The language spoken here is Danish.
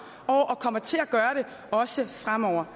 år og kommer til at gøre det også fremover